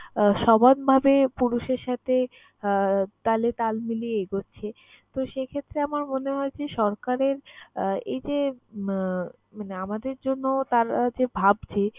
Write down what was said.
আহ সমানভাবে পুরুষের সাথে আহ তালে তাল মিলিয়ে এগোচ্ছে। তো, সেই ক্ষেত্রে আমার মনে হয় যে, সরকারের আহ এই যে আহ মানে আমাদের জন্য তারা যে ভাবছে